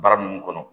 Bara mun kɔnɔ